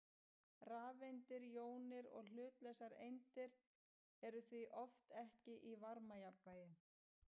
Rafeindir, jónir og hlutlausar eindir eru því oft ekki í varmajafnvægi.